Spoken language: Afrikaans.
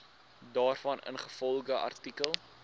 daarvan ingevolge artikel